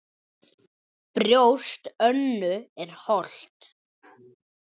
Brjóst Önnu er holt.